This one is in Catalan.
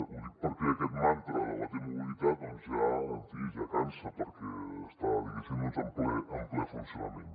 ho dic perquè aquest mantra de la t mobilitat doncs en fi ja cansa perquè està diguéssim en ple funcionament